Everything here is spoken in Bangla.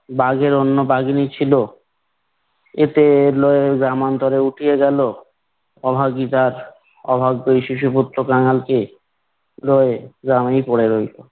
বাঘের অন্য বাঘিনী ছিল। একে লয়ে গ্রামান্তরে উঠিয়া গেল। অভাগী তার অভাগ্য এই শিশুপুত্র কাঙালকে লয়ে গ্রামেই পরে রইল।